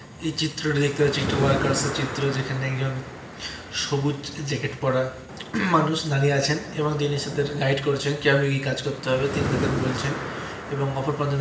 এ চিত্র তে দেখতে পাচ্ছি টু ওয়ার্কার চিত্র আর চাই তোমার কাছে চিত্র যেখানে একজন সবুজ জেকে পরা মানুষ দাঁড়িয়ে আছেন এবং দিনের সাথে গাইড করছেন কিভাবে কাজ করতে হবে তিনি তাদের বলছেন এবং অপর প্রানতে দেখা --